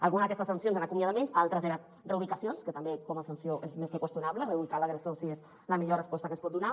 alguna d’aquestes sancions eren acomiadaments altres eren reubicacions que també com a sanció és més que qüestionable reubicar l’agressor si és la millor resposta que es pot donar